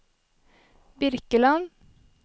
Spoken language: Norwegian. Birkeland